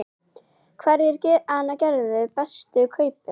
Hverjir gerðu bestu kaupin?